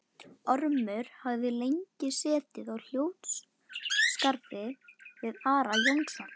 Ormur hafði lengi setið á hljóðskrafi við Ara Jónsson.